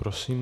Prosím.